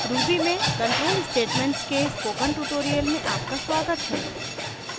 ruby में control statements के spoken tutorial में आपका स्वागत है